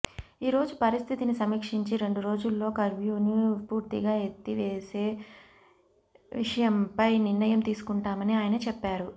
ఈ రోజు పరిస్థితిని సమీక్షించి రెండు రోజుల్లో కర్ఫ్యూను పూర్తిగా ఎత్తేవేసే విషయంపై నిర్ణయం తీసుకుంటామని ఆయన చెప్పారు